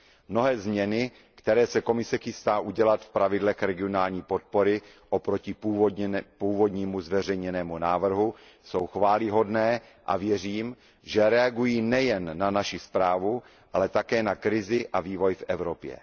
Mnohé změny, které se Komise chystá udělat v pravidlech regionální podpory oproti původnímu zveřejněnému návrhu, jsou chvályhodné a věřím, že reagují nejen na naši zprávu, ale také na krizi a vývoj v Evropě.